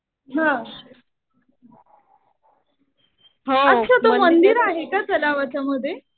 हा. अच्छा तर मंदिर आहे का तलावाच्या मध्ये.